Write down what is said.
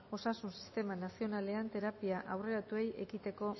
osasun sistema nazionalean terapia aurreratuei ekiteko